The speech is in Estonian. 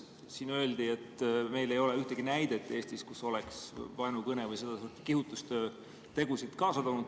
Siin öeldi, et meil ei ole Eestis ühtegi näidet selle kohta, et vaenukõne või seda sorti kihutustöö oleks tegusid kaasa toonud.